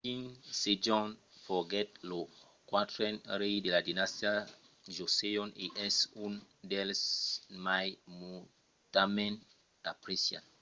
king sejong foguèt lo quatren rei de la dinastia joseon e es un dels mai nautament apreciats